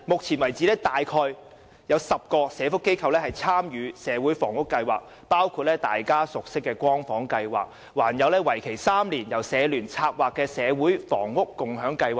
此外，至今已有約10個社福機構參與社會房屋計劃，包括大家熟悉的"光房"計劃，還有由社聯策劃為期3年的社會房屋共享計劃。